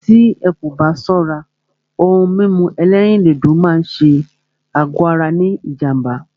Tí ẹ́ kò bá ṣọ́rá, òhún mímú ẹ̀lẹ́rìndodò lé ṣé àgọ ara ní jám̀bá.